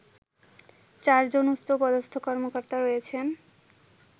চারজন উচ্চপদস্থ কর্মকর্তা রয়েছেন